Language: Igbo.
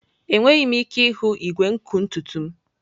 Enweghị m ike ịhụ igwe nkụ ntutu m.